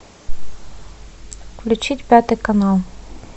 включить пятый канал